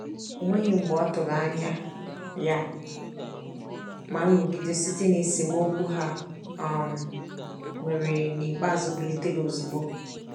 O nweghị mgbe ọtụrụ anya ya, ma nrụgide site na esemokwu ha um nwere n'ikpeazụ bilitere ozugbo.